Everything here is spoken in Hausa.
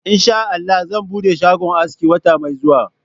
Insha Allah zan bude shagon aski wata mai zuwa.